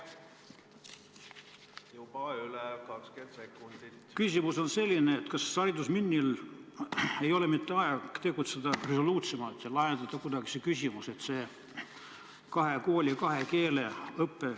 Kas haridusministeeriumil ei ole mitte aeg tegutseda resoluutsemalt ja see küsimus kuidagi lahendada?